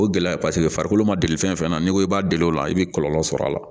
O gɛlɛya paseke farikolo ma deli fɛnfɛn na n'i ko k'i b'a deli o la i be kɔlɔlɔ sɔrɔ a la